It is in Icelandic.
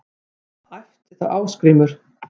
æpti þá Ásgrímur